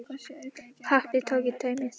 Knapinn tók í tauminn, stansaði og leit við.